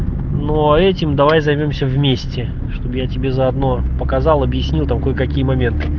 но а этим давай займёмся вместе чтоб я тебе заодно показал объяснил там кое-какие моменты